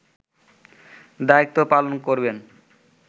দায়িত্ব পালন করবেন